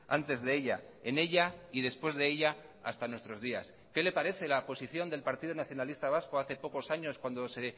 antes de ella en ella y después de ella hasta nuestros días qué le parece la posición del partido nacionalista vasco hace pocos años cuando se